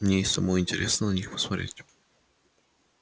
мне и самой интересно на них посмотреть